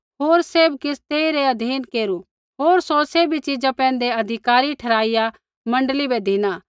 होर सैभ किछ़ तेइरै अधीन केरू होर सौ सैभी चिजा पैंधै अधिकारी ठहराईया मण्डली बै धिना